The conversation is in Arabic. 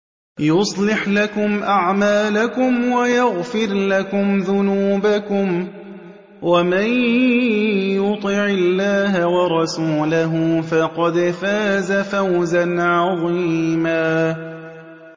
يُصْلِحْ لَكُمْ أَعْمَالَكُمْ وَيَغْفِرْ لَكُمْ ذُنُوبَكُمْ ۗ وَمَن يُطِعِ اللَّهَ وَرَسُولَهُ فَقَدْ فَازَ فَوْزًا عَظِيمًا